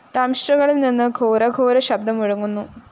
ദംഷ്ട്രകളില്‍ നിന്ന് ഘോരഘോരശബ്ദം മുഴങ്ങുന്നു